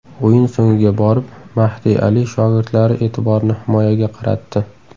O‘yin so‘ngiga borib, Mahdi Ali shogirdlari e’tiborni himoyaga qaratdi.